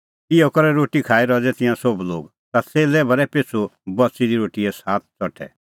इहअ करै रोटी खाई रज़ै तिंयां सोभ लोग ता च़ेल्लै भरै पिछ़ू बच़ी दी रोटीए सात च़ठै